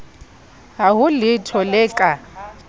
ha ho letho le ka